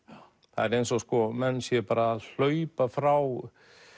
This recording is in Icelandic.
það er eins og menn séu að hlaupa frá